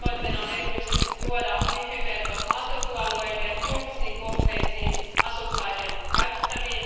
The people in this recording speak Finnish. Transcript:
Tavoitteena on erityisesti tuoda WiFi verkot maaseutualueille, julkisiin kohteisiin, asukkaiden käytettäväksi.